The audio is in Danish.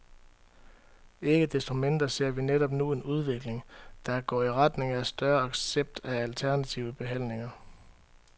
Ikke desto mindre ser vi netop nu en udvikling, der går i retning af større accept af alternative behandlinger.